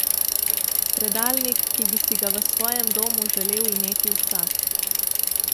Predalnik, ki bi si ga v svojem domu želel imeti vsak.